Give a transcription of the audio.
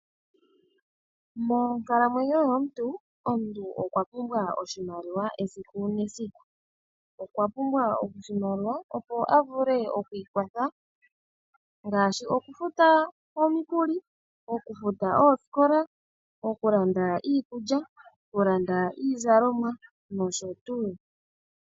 Monkalamwenyo yomuntu, omuntu okwa pumbwa oshimaliwa esiku nesiku. Okwa pumbwa ondjinolo opo avule oku ikwatha ngaashi oku futa omukuli, oku futa ooskola, oku landa iikulya, oku landa iizalomwa nsh.